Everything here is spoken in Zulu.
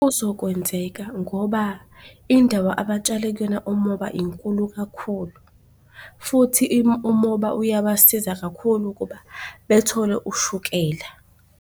Kuzokwenzeka ngoba indawo abatshale kuyona umoba inkulu kakhulu, futhi umoba uyabasiza kakhulu ukuba bethole ushukela.